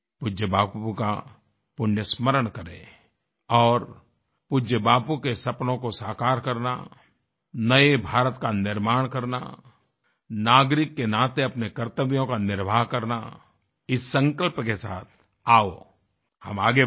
पूज्य बापू का पुण्य स्मरण करें और पूज्य बापू के सपनों को साकार करना नये भारत का निर्माण करना नागरिक के नाते अपने कर्तव्यों का निर्वाह करना इस संकल्प के साथ आओहम आगे बढें